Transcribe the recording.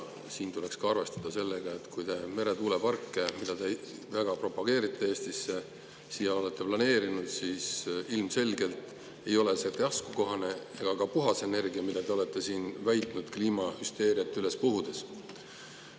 Siin tuleks arvestada ka sellega, et meretuuleparkide puhul, mida te propageerite ja Eestisse olete planeerinud, ilmselgelt ei ole tegemist taskukohase ja puhta energiaga, nagu te olete siin väitnud kliimahüsteeriat üles puhudes.